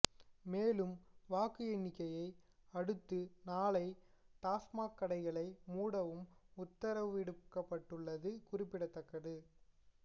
மேலும் வாக்கு எண்ணிக்கையை அடுத்து நாளை டாஸ்மாக் கடைகளை மூடவும் உத்தரவிடப்பட்டுள்ளது குறிப்பிடத்தக்கது